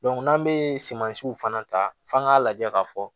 n'an bɛ sumansiw fana ta f'an k'a lajɛ k'a fɔ